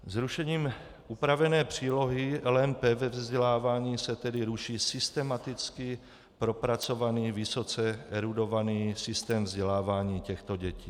Zrušením upravené přílohy LMP ve vzdělávání se tedy ruší systematicky propracovaný, vysoce erudovaný systém vzdělávání těchto dětí.